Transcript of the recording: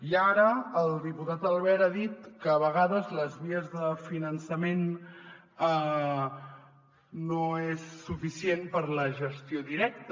i ara el diputat albert ha dit que a vegades les vies de finançament no són suficients per a la gestió directa